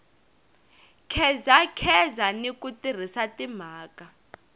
khedzakheza ni ku tirhisa timhaka